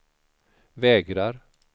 vägrar